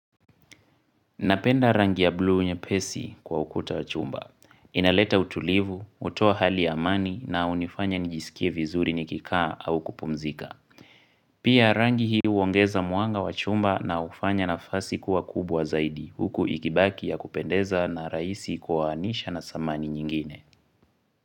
Napenda rangi ya blu nye pesi kwa ukuta wachumba. Inaleta utulivu, hutoa hali amani na hunifanya nijisikie vizuri nikikaa au kupumzika. Pia rangi hiu huongeza mwanga wachumba na hufanya na fasi kuwa kubwa zaidi huku ikibaki ya kupendeza na rahisi kwa anisha na samani nyingine.